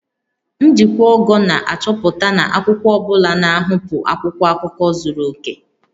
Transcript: Njikwa ogo na-achọpụta na akwụkwọ ọ bụla na-ahapụ akwụkwọ akụkọ zuru oke